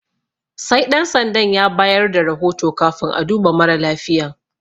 Sai Ɗan sandan ya bayar da rahoto kafin a duba mara lafiyan.